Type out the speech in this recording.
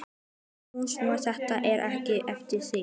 sagði hún svo: Þetta er ekkert eftir þig!